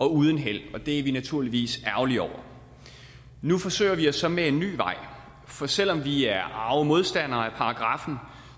uden held og det er vi naturligvis ærgerlige over nu forsøger vi os så med en ny vej for selv om vi er arge modstandere af paragraffen